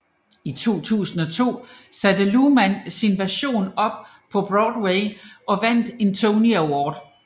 I 2002 satte Luhrmann sin version op på Broadway og vandt en Tony Award